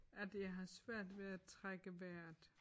At jeg har svært ved at trække vejret